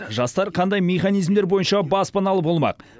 жастар қандай мехнизмдер бойынша баспаналы болмақ